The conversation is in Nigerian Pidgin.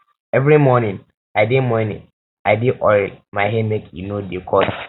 every morning i dey morning i dey oil my hair make e no dey cut